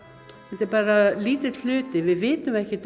þetta er bara lítill hluti við vitum ekkert